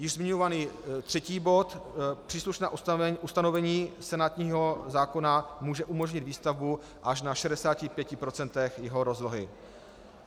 Již zmiňovaný třetí bod - příslušné ustanovení senátního zákona může umožnit výstavbu až na 65 % jeho rozlohy.